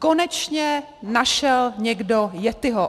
Konečně našel někdo yettiho.